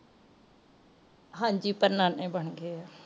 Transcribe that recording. ਹਾਂਜੀ ਪਰ ਨਾਨੇ ਬਣ ਗਏ ਆ